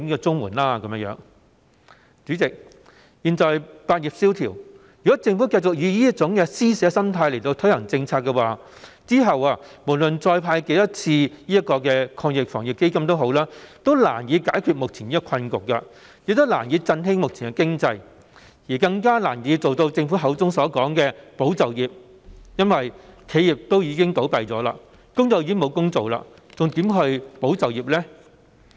主席，現時百業蕭條，如果政府繼續以這種施捨心態推行政策，則無論再成立多少個防疫抗疫基金，最後也難以解決目前的困局，難以振興目前的經濟，更難以做到政府所說的"保就業"，因為企業已經倒閉，工友沒有工作，還如何"保就業"呢？